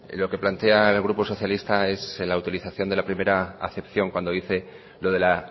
lo que plantea el grupo socialista es la autorización de la primera acepción cuando dice lo de la